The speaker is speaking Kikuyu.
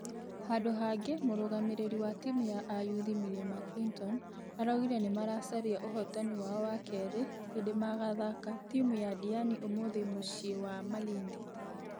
Handũ hangi mũrugamĩrĩri wa timũ ya ayuthi mirema clinton araugire nĩmaracaria ũhotani wao wa kerĩ hĩndĩ magathaka timũ ya diani ũmũthi mũciĩ wa malindi.